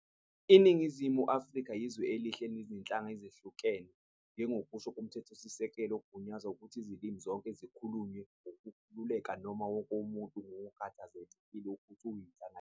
Iningizimu Afrika iyizwe elihle elinezinhlanga ezahlukahlukene, njengokusho komthethosisekelo ugunyaza ukuthi izilimi zonke zikhulunywe ngokukhululeka noma wonke umuntu kungakhathalekile ukuthi uyinhlanga yiphi.